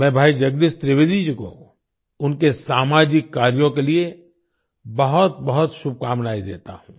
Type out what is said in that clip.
मैं भाई जगदीश त्रिवेदी जी को उनके सामाजिक कार्यों के लिए बहुतबहुत शुभकामनाएं देता हूँ